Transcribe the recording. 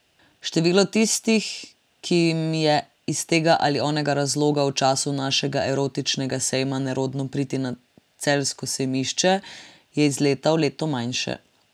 Število tistih, ki jim je iz tega ali onega razloga v času našega erotičnega sejma nerodno priti na celjsko sejmišče, je iz leta v leto manjše.